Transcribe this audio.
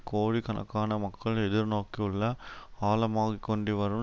கோடிக்கணக்கான மக்கள் எதிர்நோக்கியுள்ள ஆழமாகிக்கொண்டுவரும்